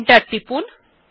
enter টিপুন